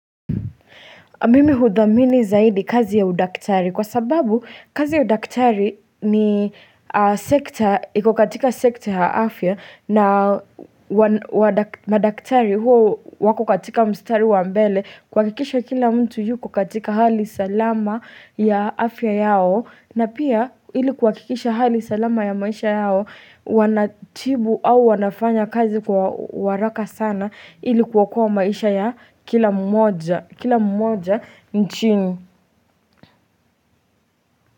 Mimi hudhamini zaidi kazi ya udaktari kwa sababu kazi ya udaktari ni sekta, ikokatika sekta ya afya na madaktari hua wako katika mstari wa mbele kwakikisha kila mtu yu kukatika hali salama ya afya yao. Na pia ili kuhakikisha hali salama ya maisha yao Wanatibu au wanafanya kazi kwa waraka sana ilikuokoa maisha ya kila mmoja Kila mmoja nchini.